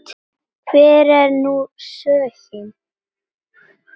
Hver er nú sögnin?